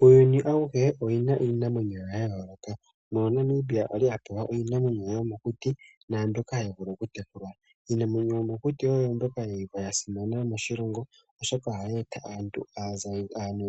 Uuyuni auhe ou na iinamwenyo yawo ya yooloka mono Namibia a li a pewa iinamwenyo yomokuti naa mbyoka hayi vulu okutekulwa. Iinamwenyo yomokuti oyo mbyoka ya simana moshilongo, oshoka ohayi eta aantu